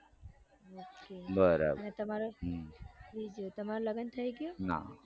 બરાબર અને તમારું લગન થઇ ગયું ના